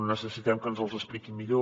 necessitem que ens els expliquin millor